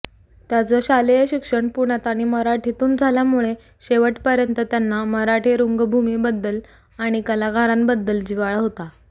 त्यांचं शालेय शिक्षण पुण्यात आणि मराठीतून झाल्यामुळे शेवटपर्यंत त्यांना मराठी रंगभूमीबद्दल आणि कलाकारांबद्दल जिव्हाळा होता